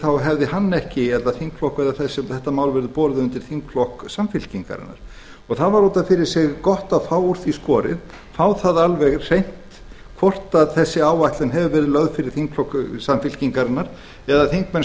þá hefði hann ekki eða þetta mál verið borið undir þingflokk samfylkingarinnar og það var út af fyrir sig gott að fá úr því skorið fá það alveg hreint hvort þessi áætlun hefur verið lögð fyrir þingflokk samfylkingarinnar eða þingmenn